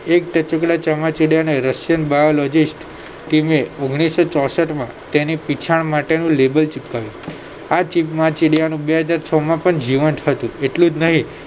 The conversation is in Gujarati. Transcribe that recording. એક ટચુકડા ચામાચિડીયાના રશિયન biologist ટીમે ઓગણીસો ચોસઠમાં તેને પીંછા માટેનું label ચીપકાવ્યું આ ચામાચીડિયું બે હજાર છ માં પણ જીવંત હતું એટલુંજ નહિ